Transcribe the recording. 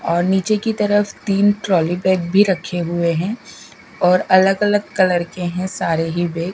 और नीचे की तरफ तीन ट्रॉली बैग भी रखे हुए हैं और अलग अलग कलर के हैं सारे ही बैग ।